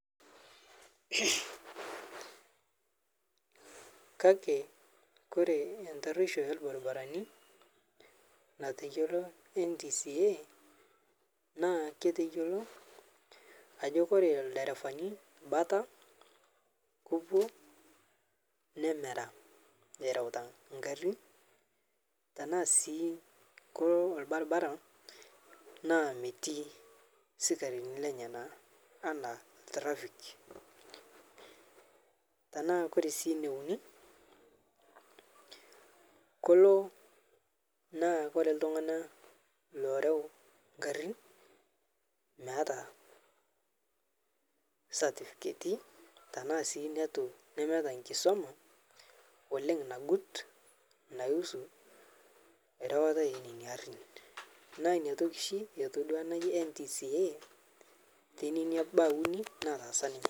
Kakee kore entarueisho elbarbarani nateyoloo NTSA naa keteyeloo ajo kore elderevani bataa kopuo nemeraa erautaa nkarin tanaa sii kolo olbarbaraa naa metii sikarinii lenyanaa ana traffic, tanaa kore sii neunii koloo naa kore ltung'ana loreu nkarin meata satifiketi tanaa sii netuu nemeata nkisomaa oleng' nagut naihusu rewata enenia arin naa inia toki shi etodua ana najii NTSA tenenia baa unii nataasa ninye.